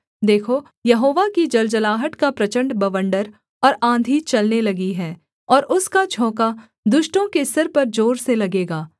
देखो यहोवा की जलजलाहट का प्रचण्ड बवण्डर और आँधी चलने लगी है और उसका झोंका दुष्टों के सिर पर जोर से लगेगा